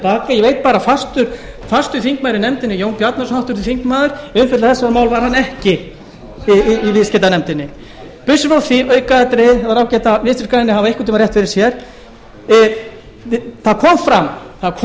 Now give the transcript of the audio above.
baka ég veit bara að fastur þingmaður í nefndinni jón bjarnason háttvirtur þingmaður viðstaddur þetta mál var hann ekki í viðskiptanefndinni burtséð frá því aukaatriði það var ágætt að vinstri grænir hafi einhvern tíma rétt fyrir sér það kom